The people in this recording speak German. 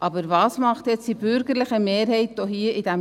Aber was macht jetzt die bürgerliche Mehrheit hier im Rat?